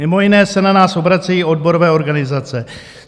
Mimo jiné se na nás obracejí odborové organizace.